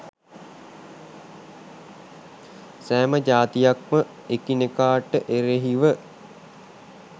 සෑම ජාතියක්ම එකිනෙකාට එරෙහිව